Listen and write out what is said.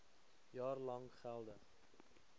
jaar lank geldig